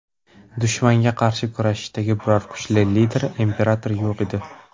Dushmanga qarshi kurashadigan biror kuchli lider imperator yo‘q edi.